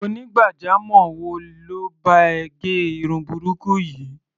Onígbàjamọ̀ wo ló bá ẹ gẹ irun burúkú yìí?